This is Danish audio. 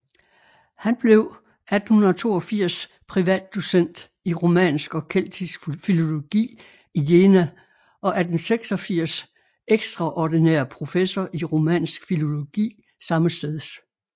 Han blev 1882 privatdocent i romansk og keltisk filologi i Jena og 1886 ekstraordinær professor i romansk filologi sammesteds